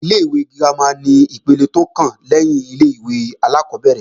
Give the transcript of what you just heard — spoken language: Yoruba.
Ilé-ìwé girama ni ipele tó kàn lẹ́yìn ilé-ìwé alákọ́bẹ̀rẹ̀